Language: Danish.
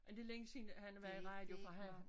Men det længe siden han har været i radio for han